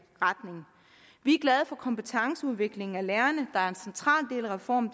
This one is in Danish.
retning vi er glade for kompetenceudviklingen af lærerne der er en central del af reformen